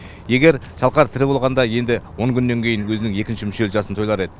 егер шалқар тірі болғанда енді он күннен кейін өзінің екінші мүшел жасын тойлар еді